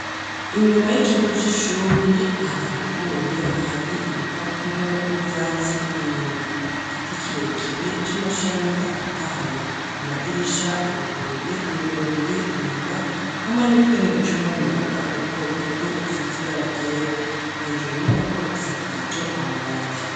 Inyuma y'ikigo c'ishuri, hadakubuye, hari ibipapuro n'ivyatsi inyuma; igiti kirekire c'amashami atotahaye; amadirisha aruguruye, yugururiye inyuma, hamwe n'utwenge ducamwo umuyaga duto duto, dusize ibara ryera; hejuru inyubako isakaje amabati.